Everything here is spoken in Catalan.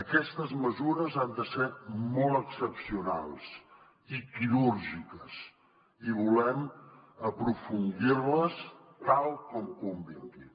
aquestes mesures han de ser molt excepcionals i quirúrgiques i volem aprofundir les tal com convingui